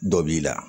Dɔ b'i la